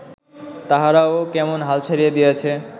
তাহারাও কেমন হাল ছাড়িয়া দিয়াছে